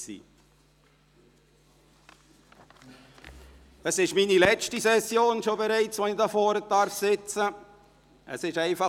Dies ist bereits die letzte Session, während der ich hier vorne sitzen darf.